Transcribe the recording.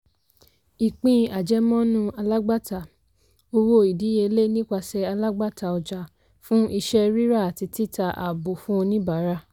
ìpín àjẹmọ́nú alágbàtà - owó ìdíyelé nipasẹ̀ alágbàtà ọjà fún iṣẹ́ ríra àti títa àábò fún oníbàárà.